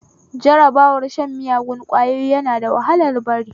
Jarabar shan miyagun ƙwayoyi na da wahalar bari